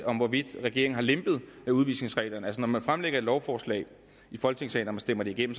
om hvorvidt regeringen har lempet udvisningsreglerne eller ej når man fremsætter et lovforslag i folketingssalen og stemmer det igennem